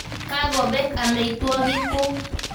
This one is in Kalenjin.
Kako pek ameitwogik kuk.